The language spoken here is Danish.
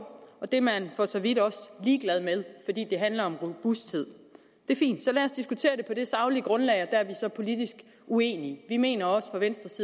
og at det er man for så vidt også ligeglad med fordi det handler om robusthed det er fint så lad os diskutere det på det saglige grundlag er vi så politisk uenige vi mener fra venstres